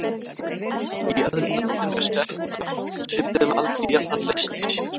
Í öðrum löndum er set af svipuðum aldri jafnan laust í sér.